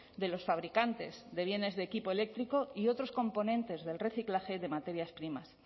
de los fabricantes de bienes de equipo eléctrico y otros componentes del reciclaje de materias primas